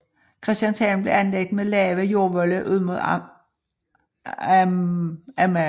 Christianshavn blev anlagt med lave jordvolde ud mod Amager